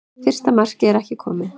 Fyrsta markmið er ekki komið